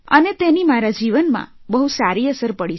અને તેની મારા જીવનમાં બહુ સારી અસર પડી છે